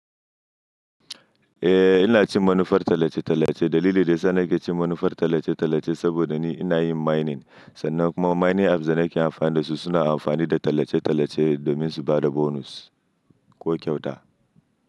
Eh ina cin manufar tallace-tallace. Dalili da yasa nake cin manufar tallace-tallace saboda ni ina yin mining sannan kuma mining apps da nake amfani da su suna amfani da tallace-tallace domin su ba da bonus ko kyauta.